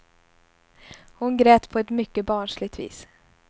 Hon grät på ett mycket barnsligt vis.